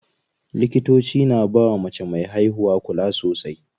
Likitoci na bawa mace me haihuwa kula sosai.